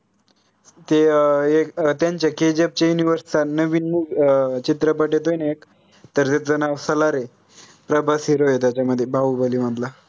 ते अं एक KGF चे असता नवीन movie अं चित्रपट येतोय न एक तर त्याच नाव सालार आय प्रभास hero आहे त्याच्यामध्ये बाहुबली मधला